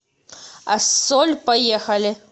ассоль поехали